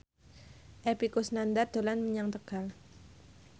Epy Kusnandar dolan menyang Tegal